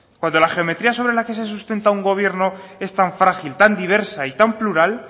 cuando la geometría sobre la que se sustenta un gobierno es tan frágil tan diversa y tan plural